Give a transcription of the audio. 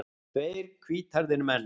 Tveir hvíthærðir menn.